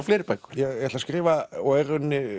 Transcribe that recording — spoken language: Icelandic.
fleiri bækur ég ætla að skrifa og er